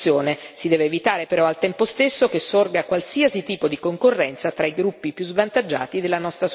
Si deve evitare, però, al tempo stesso che sorga qualsiasi tipo di concorrenza tra i gruppi più svantaggiati della nostra società.